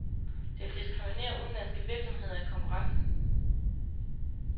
Det vil diskriminere udenlandske virksomheder i konkurrencen.